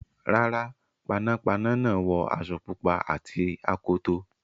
Rárá, panápaná náà wọ aṣọ pupa àti akoto.